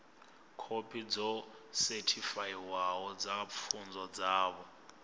khophi dzo sethifaiwaho dza pfunzo dzavho